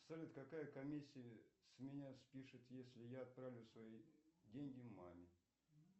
салют какая комиссия с меня спишут если я отправлю свои деньги маме